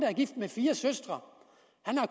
er gift med fire søstre